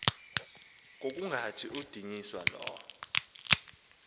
ngokungathi kudunyiswa lo